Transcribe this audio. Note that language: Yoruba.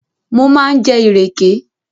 Mo máa ń jẹ ìrèké